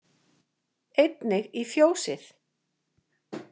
Einnig í fjósið.